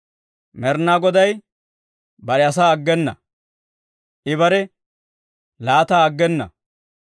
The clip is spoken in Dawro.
Med'inaa Goday bare asaa aggena; I bare laattaa aggena.